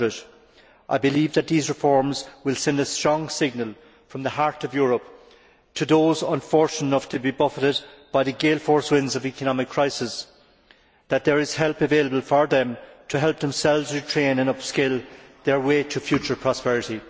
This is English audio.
500. I believe that these reforms will send a strong signal from the heart of Europe to those unfortunate enough to be buffeted by the gale force winds of economic crisis that there is help available to them to help themselves retrain and upskill their way to future prosperity.